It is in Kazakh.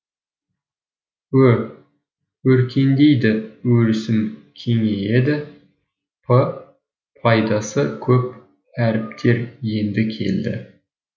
ө өркендейді өрісім кеңейеді п пайдасы көп әріптер енді келді